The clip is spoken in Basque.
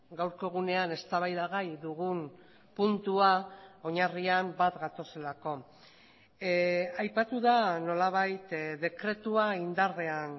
gaurko egunean eztabaida gai dugun puntua oinarrian bat gatozelako aipatu da nolabait dekretua indarrean